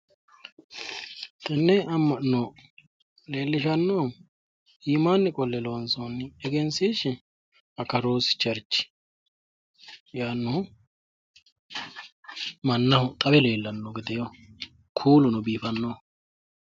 Tenne amma'no leellishannohu iimaanni qolle loonsoonni egensiishshi akaroosi cherchi yaannohu mannaho xawe leellanno gedeeho kuuluno biifannoho.